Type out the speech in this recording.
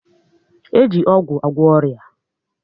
E ji ọgwụ agwọ ọrịa